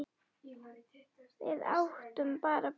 Við áttum bara Birgi Björn.